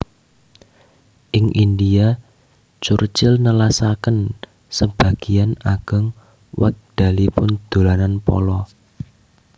Ing India Churchill nelasaken sebagéyan ageng wekdalipun dolanan polo